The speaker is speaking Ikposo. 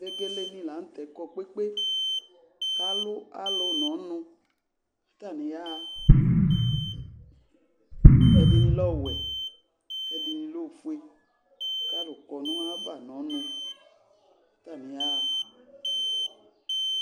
Vegelenɩ la nʋ tɛ kɔ kpe kpe kʋ alʋ alʋ nʋ ɔnʋ kʋ atanɩ yaɣa Ɛdɩnɩ lɛ ɔwɛ kʋ ɛdɩnɩ lɛ ofue kʋ alʋ kɔ nʋ ayava nʋ ɔnʋ kʋ atanɩ yaɣa